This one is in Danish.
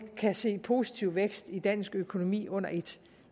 kan se positiv vækst i dansk økonomi under et